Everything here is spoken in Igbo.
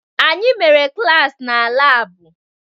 Anyị mere klaasị na laabụ